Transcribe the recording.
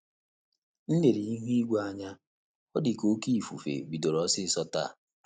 M lere ihu igwe anya, ọ dị ka oké ifufe bidoro osiso taa